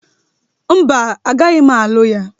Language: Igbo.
Mba, agaghị m alụ ya